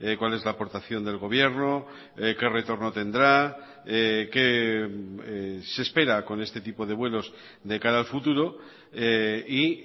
cuál es la aportación del gobierno qué retorno tendrá qué se espera con este tipo de vuelos de cara al futuro y